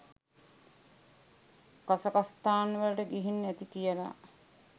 කසකස්ථාන් වලට ගිහින් ඇති කියලා.